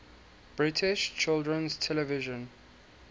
british children's television